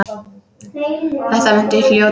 Þetta muntu hljóta.